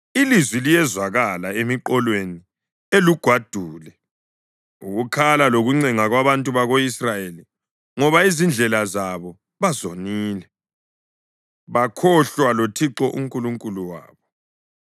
Ilizwi liyezwakala emiqolweni elugwadule, ukukhala lokuncenga kwabantu bako-Israyeli, ngoba izindlela zabo bazonile bakhohlwa loThixo uNkulunkulu wabo.